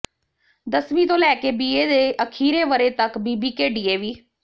ਦਸਵੀਂ ਤੋਂ ਲੈ ਕੇ ਬੀਏ ਦੇ ਅਖੀਰੇ ਵਰ੍ਹੇ ਤੱਕ ਬੀਬੀਕੇ ਡੀਏਵੀ